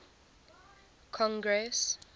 congress